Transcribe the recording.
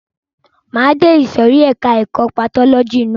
Máa de ìsòrí ẹka ẹ̀kọ́ patọ́lọ́jì ná.